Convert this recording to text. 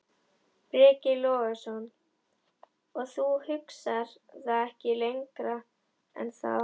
Breki Logason: Og þú hugsar það ekkert lengra en það?